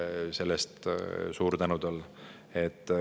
Selle eest suur tänu talle!